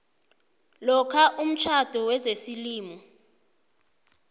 lokha umtjhado wesimuslimu